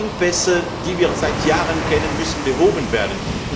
Engpässe, die wir seit Jahren kennen, müssen behoben werden.